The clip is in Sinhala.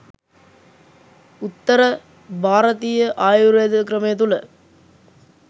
උත්තර භාරතීය ආයුර්වේද ක්‍රමය තුළ